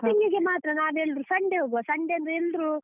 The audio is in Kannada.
shopping ಗೆ ಮಾತ್ರ ನಾವೆಲ್ರೂ Sunday ಹೋಗುವ Sunday ಅಂದ್ರೆ ಎಲ್ರೂ.